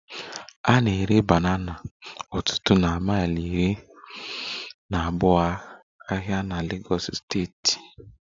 A na-ere banana n'ọtụtụ na mile iri na abuo ahịa na Legos steeti